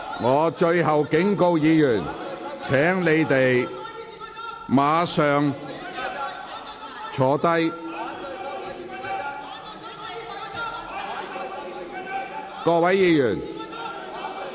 我最後警告議員，請立即坐下。